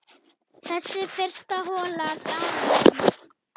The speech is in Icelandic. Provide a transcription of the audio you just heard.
Þessi fyrsta hola gaf um